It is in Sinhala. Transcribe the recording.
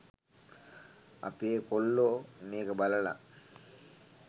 අපේ කොල්ලෝ මේක බලලා